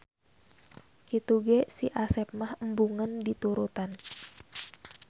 Kitu ge Si Asep mah embungeun diturutan.